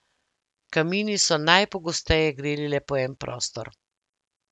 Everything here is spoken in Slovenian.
Kamini so najpogosteje greli le po en prostor.